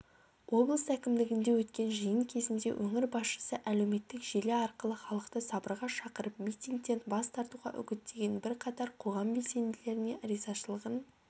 облыс әкімдігінде өткен жиын кезінде өңір басшысы әлеуметтік желі арқылы халықты сабырға шақырып митингтен бас тартуға үгіттеген бірқатар қоғам белсенділеріне ризашылығын